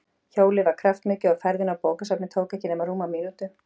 Hjólið var kraftmikið og ferðin á bókasafnið tók ekki nema rúma mínútu.